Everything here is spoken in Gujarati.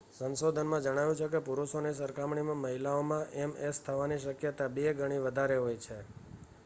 સંશોધનમાં જણાવ્યુ છે કે પુરુષોની સરખામણીમાં મહિલાઓમાં એમએસ થવાની શક્યતા બે ગણી વધારે હોય છે